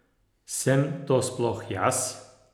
Sem to sploh jaz?